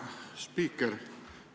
Hea spiiker!